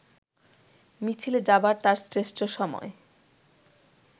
মিছিলে যাবার তার শ্রেষ্ঠ সময়